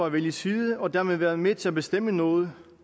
at vælge side og dermed være med til at bestemme noget